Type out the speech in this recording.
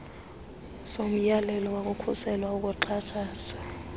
somyalelo wokukhusela ukuxhatshazwa